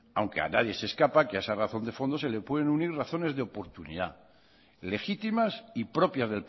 aunque a nadie se le escapa que a esa razón de fondo se le pueden unir razones de oportunidad legítimas y propias